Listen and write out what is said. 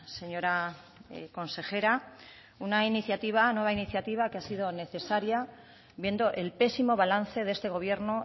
señora consejera una nueva iniciativa que ha sido necesaria viendo el pésimo balance de este gobierno